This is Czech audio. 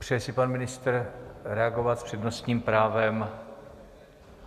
Přeje si pan ministr reagovat s přednostním právem?